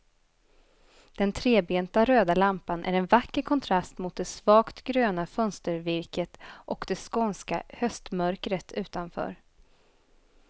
Den trebenta röda lampan är en vacker kontrast mot det svagt gröna fönstervirket och det skånska höstmörkret utanför.